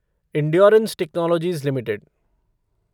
endurance Technologies limited